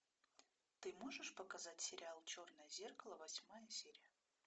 ты можешь показать сериал черное зеркало восьмая серия